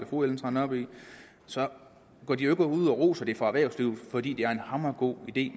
fru ellen trane nørby så går de jo ikke ud og roser det fra erhvervslivets fordi det er en hamrende god idé